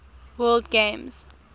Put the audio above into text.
word games